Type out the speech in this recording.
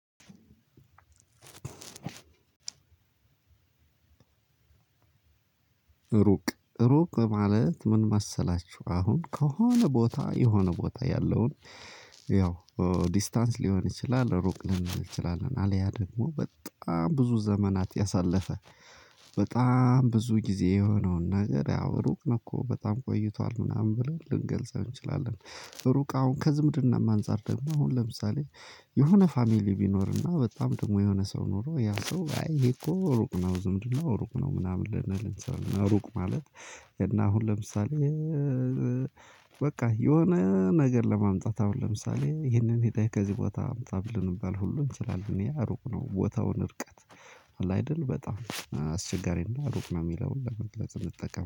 ሩቅ ሩቅ ማለት ምን መሰላችሁ አሁን ከሆነ ቦታ የሆነ ቦታ ያለውን። ያው ዲስታንስ ሊሆን ይችላል ሩቅ ሊሆንም ይችላል አልያ ደግሞ በጣም ብዙ ዘመናት ያሳለፈ በጣም ብዙ ጊዜ የሆነውን ነገር ያው ሩቅ ነው እኮ በጣም ቆይቷል ምናምን ብለን ልንገልጸው እንችላለን። ሩቅ አሁን ከዝምድናም አንፃር ደሞ አሁን ለምሳሌ። የሆነ ፋሚሊ ቢኖርና በጣም ደግሞ የሆነ ሰው ኖሮ ያ ሰው አይ ይሄ እኮ ሩቅ ነው ዝምድና ሩቅ ነው ምናምን ልንል እንሰራለን። ሩቅ ማለት እና አሁን ለምሳሌ። በቃ የሆነ ነገር ለማምጣት አሁን ለምሳሌ ይህንን ሄደህ ከዚህ ቦታ አምጣ ልንባል ሁሉ እንችላለን ያ ሩቅ ነው ቦታውን እርቀት። አለ አይደል በጣም አስቸጋሪና ሩቅ ነው እሚለውን ለመግለጽ እንጠቀም